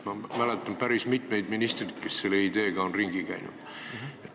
Ma mäletan päris mitmeid ministreid, kes on selle ideega ringi käinud.